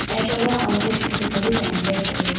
acha wa amuku che photo tulitene khayi khawuyi bi.